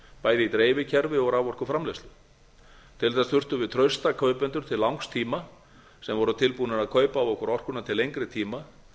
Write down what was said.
bæði í dreifikerfi og raforkuframleiðslu til þess þurftum við trausta kaupendur til langs tíma sem voru tilbúnir að kaupa af okkur orkuna til lengri tíma